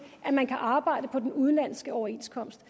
at man kan arbejde på en udenlandsk overenskomst